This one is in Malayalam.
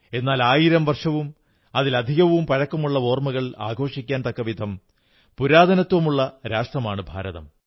എന്നാൽ ആയിരം വർഷവും അതിലധികവും പഴക്കമുള്ള ഓർമ്മകൾ ആഘോഷിക്കാൻ തക്കവിധം പുരാതനത്വമുള്ള രാഷ്ട്രമാണ് ഭാരതം